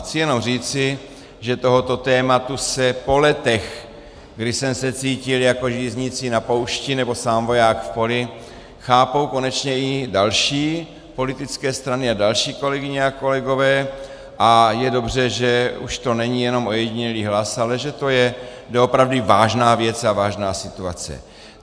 Chci jenom říci, že tohoto tématu se po letech, kdy jsem se cítil jako žíznící na poušti nebo sám voják v poli, chápou konečně i další politické strany a další kolegyně a kolegové a je dobře, že už to není jenom ojedinělý hlas, ale že to je doopravdy vážná věc a vážná situace.